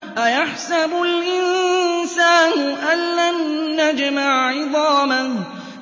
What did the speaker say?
أَيَحْسَبُ الْإِنسَانُ أَلَّن نَّجْمَعَ عِظَامَهُ